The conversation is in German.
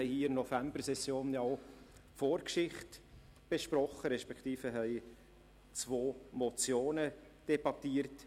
In der Novembersession hatten wir hier auch die Vorgeschichte besprochen respektive zwei Motionen debattiert.